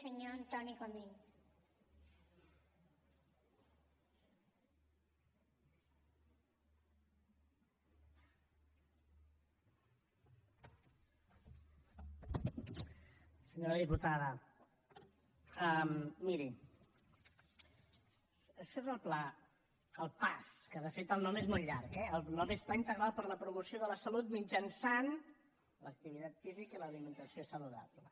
senyora diputada miri això és el pla el paas que de fet el nom és molt llarg eh el nom és pla integral per a la promoció de la salut mitjançant l’activitat física i l’alimentació saludable